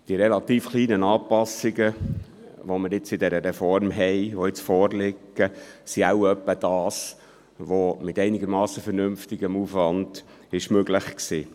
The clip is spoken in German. Die relativ kleinen Anpassungen, die wir bei dieser Reform haben und die jetzt vorliegen sind wohl etwa das, was mit einem einigermassen vernünftigen Aufwand möglich ist.